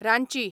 Ranchi